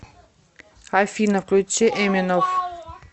афина включи эминов